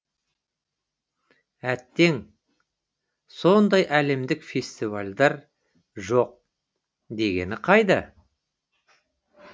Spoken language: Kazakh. әттең сондай әлемдік фестивальдер жоқ дегені қайда